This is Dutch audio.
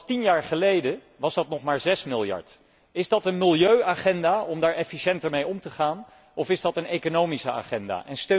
tien jaar geleden was dat maar 6 miljard. Is dat een milieuagenda om daar efficiënter mee om te gaan, of is dat een economische agenda?